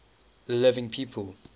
living people